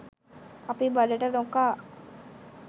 අපි බඩට නොකා